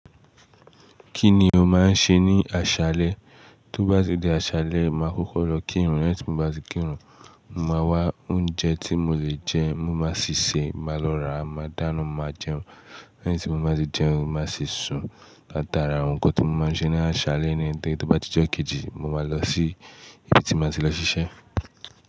Kí ni o máa ń ṣe ní àṣálẹ́? Tó bá di àṣálẹ́, màá kókó lọ kírun. Lẹ́yìn tí mo bá ti kírun, mo màá wá oúnjẹ tí mo lè jẹ, mo máa sì se, màá lọ rà, màá dáná, màá jẹun. Lẹ́yìn tí mo bá ti jẹun, màá sì sùn látara awon nkan tí mo máa ń ṣe ní àṣálẹ́ nítorí tó bá ti jẹ́ kejì, mo máa lọ sí ibi tí màá ti lọ ṣiṣẹ́.